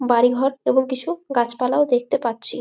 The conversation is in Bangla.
বাড়ি ঘর এবং কিছু গাছপালাও দেখতে পারছি ।